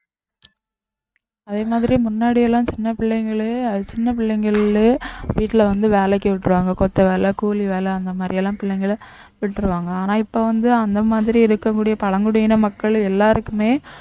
அதே மாதிரி முன்னாடி எல்லாம் சின்ன பிள்ளைங்களே சின்ன பிள்ளைங்களே வீட்டுல வந்து வேலைக்கு விட்டுருவாங்க கொத்து வேலை கூலி வேலை அந்த மாதிரி எல்லாம் பிள்ளைங்களை விட்ருவாங்க ஆனா இப்ப வந்து அந்த மாதிரி இருக்கக்கூடிய பழங்குடியின மக்கள் எல்லாருக்குமே